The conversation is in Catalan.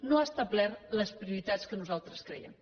no ha establert les prioritats que nosaltres creiem